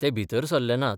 ते भितर सरले नात.